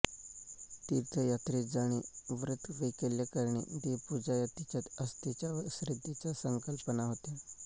तीर्थयात्रेस जाणे व्रतवैकल्य करणे देवपूजा या तिच्या आस्थेच्या व श्रद्धेच्या संंकल्पना होत्या